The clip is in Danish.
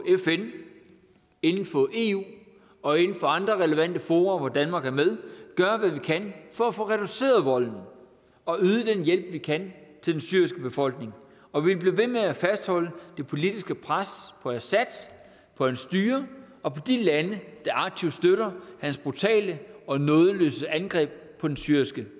inden for eu og inden for andre relevante fora hvor danmark er med gøre hvad vi kan for at få reduceret volden og yde den hjælp vi kan til den syriske befolkning og vi bliver ved med at fastholde det politiske pres på assad på hans styre og på de lande der aktivt støtter hans brutale og nådesløse angreb på den syriske